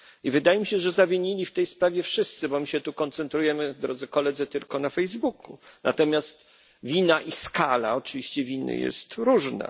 Wydaje mi się, że zawinili w tej sprawie wszyscy, bo my się tu koncentrujemy, drodzy Koledzy, tylko na Facebooku, natomiast wina i oczywiście skala winy jest różna.